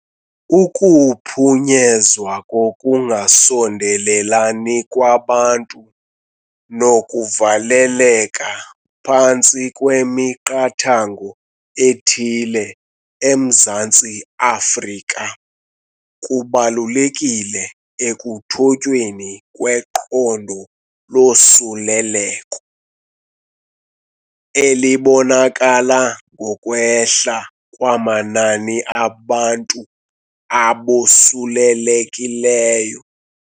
Ukuphunyezwa kokungasondelelani kwabantu nokuvaleleka phantsi kwemiqathango ethile eMzantsi Afrika kubalulekile ekuthotyweni kweqondo losuleleko, elibonakala ngokwehla kwamanani abantu abosulelekileyo.